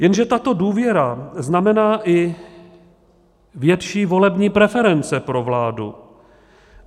Jenže tato důvěra znamená i větší volební preference pro vládu.